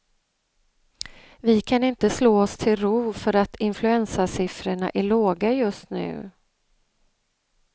Vi kan inte slå oss till ro för att influensasiffrorna är låga just nu.